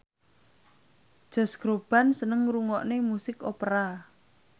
Josh Groban seneng ngrungokne musik opera